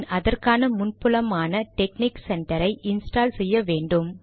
பின் அதற்கான முன்புலமான technic centre ஐ இன்ஸ்டால் செய்ய வேண்டும்